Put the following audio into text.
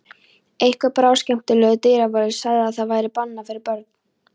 Einhver bráðskemmtilegur dyravörður sagði að það væri bannað fyrir börn.